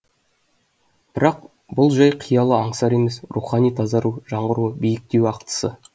бірақ бұл жай қиял аңсар емес рухани тазару жаңғыру биіктеу ақтысы